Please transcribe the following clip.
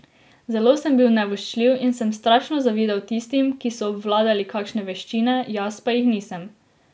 Zelo sem bil nevoščljiv in sem strašno zavidal tistim, ki so obvladali kakšne veščine, jaz pa jih nisem.